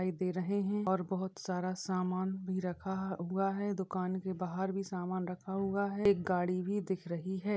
दिखाई दे रहे है और बहोत सारा सामान भी रखा हुआ है । दुकान के बाहर भी सामान रखा हुआ है एक गाडी भी दिख रही है ।